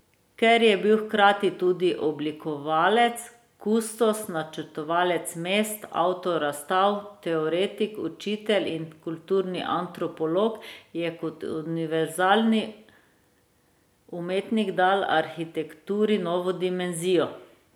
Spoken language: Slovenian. Ker je bil hkrati tudi oblikovalec, kustos, načrtovalec mest, avtor razstav, teoretik, učitelj in kulturni antropolog, je kot univerzalni umetnik dal arhitekturi novo dimenzijo.